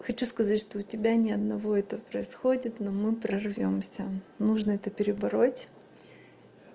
хочу сказать что у тебя ни одного это происходит но мы прорвёмся нужно это перебороть